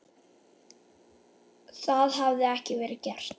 Það hafi ekki verið gert.